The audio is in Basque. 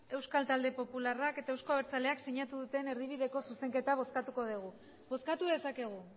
euskal talde popularrak eta euzko abertzaleak sinatu duten erdibideko zuzenketa bozkatuko dugu bozkatu dezakegu